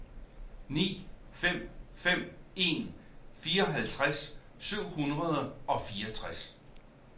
ni fem fem en fireoghalvtreds syv hundrede og fireogtres